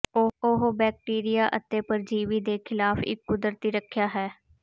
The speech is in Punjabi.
ਉਹ ਬੈਕਟੀਰੀਆ ਅਤੇ ਪਰਜੀਵੀ ਦੇ ਖਿਲਾਫ ਇੱਕ ਕੁਦਰਤੀ ਰੱਖਿਆ ਹੈ